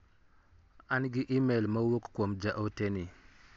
An gi imel ma owuk kuom ja ote ni.